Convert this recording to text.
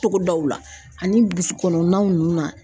Togodaw la ani burusi kɔnɔnaw nun na.